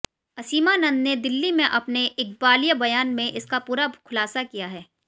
असीमानंद ने दिल्ली में अपने इकबालिया बयान में इसका पूरा खुलासा किया है